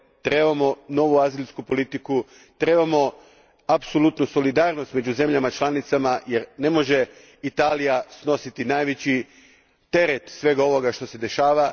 trebamo novu azilsku politiku, trebamo apsolutnu solidarnost među zemljama članicama, jer ne može Italija snositi najveći teret svega ovoga što se dešava.